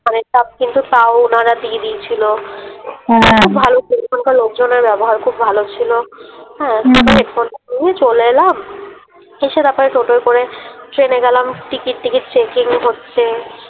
কিন্তু তাও ওনারা দিয়ে দিয়েছিলো হ্যাঁ খুব ভালো ছিলো ওখানকার লোকজনের ব্যবহার খুব ভালো ছিলো হ্যাঁ হেডফোনটা নিয়ে চলে এলাম এসে তারপরে টোটোয় করে ট্রেনে গেলাম টিকিট ঠিকটি চেকিং হচ্ছে।